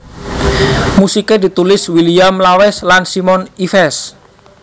Musiké ditulis William Lawes lan Simon Ives